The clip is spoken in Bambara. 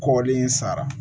Kɔli in sara